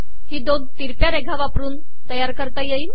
ही दोन ितरकया रेघा वापरन तयार करता येईल